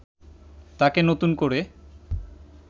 তাকে নতুন করে